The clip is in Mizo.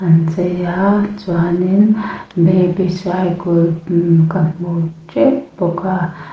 an chei a chuan in baby cygul imm ka hmu teuh bawk a.